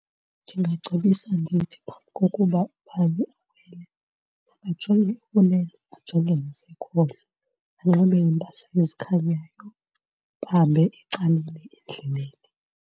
Ndingacebisa ndithi phambi kokuba ubani awele makajonge ekunene ajonge nasekhohlo, anxibe iimpahla ezikhanyayo, bahambe ecaleni endleleni.